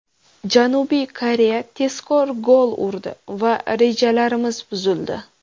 Janubiy Koreya tezkor gol urdi va rejalarimiz buzildi.